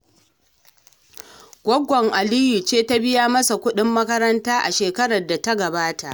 Gwaggon Aliyu ce ta biya masa kuɗin makaranta a shekarar da ta gabata